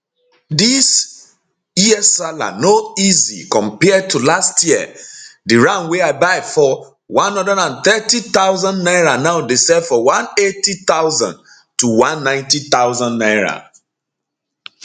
dis year sallah no easy compared to last year di ram wey i buy for 130000 naira now dey sell for 180000 to 190000 naira